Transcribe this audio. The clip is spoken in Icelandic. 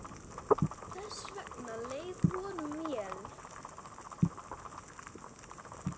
Þess vegna leið honum vel.